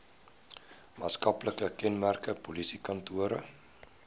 maatskaplike kenmerke polisiekantore